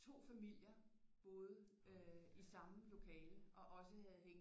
2 familier boede i samme lokale og også havde hængt